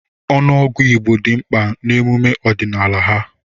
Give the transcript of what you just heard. Ọnụọgụ Igbo dị mkpa n'emume ọdịnala ha.